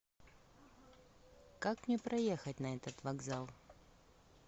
как мне проехать на этот вокзал